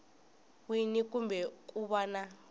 wini kumbe ku va na